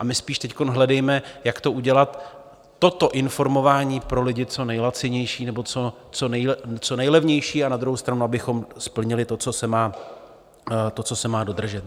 A my spíš teď hledejme, jak to udělat, toto informování pro lidi, co nejlacinější nebo co nejlevnější, a na druhou stranu abychom splnili to, co se má dodržet.